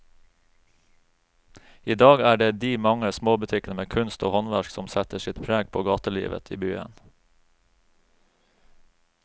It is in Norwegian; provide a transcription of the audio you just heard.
I dag er det de mange små butikkene med kunst og håndverk som setter sitt preg på gatelivet i byen.